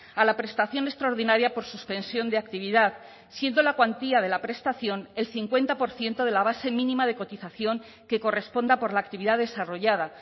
a la prestación extraordinaria por suspensión de actividad siendo la cuantía de la prestación el cincuenta por ciento de la base mínima de cotización que corresponda por la actividad desarrollada